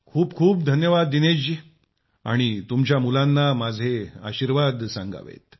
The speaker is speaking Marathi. खूपखूप धन्यवाद दिनेश जी आणि तुमच्या मुलांना माझे आशीर्वाद सांगावेत